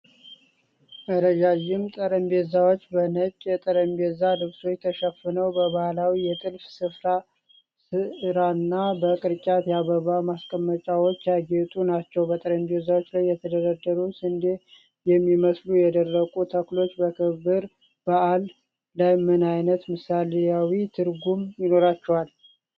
ረዣዥም ጠረጴዛዎች በነጭ የጠረጴዛ ልብሶች ተሸፍነው፣ በባህላዊ የጥልፍ ስራና በቅርጫት የአበባ ማስቀመጫዎች ያጌጡ ናቸው። በጠረጴዛዎቹ ላይ የተደረደሩት ስንዴ የሚመስሉ የደረቁ ተክሎች በክብረ በዓሉ ላይ ምን ዓይነት ምሳሌያዊ ትርጉም ይኖራቸዋል?